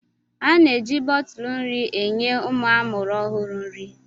A na-eji bọtụlụ nri enye ụmụ amụrụ ọhụrụ nri.